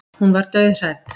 Hún var dauðhrædd.